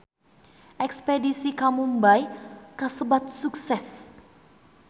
Espedisi ka Mumbay kasebat sukses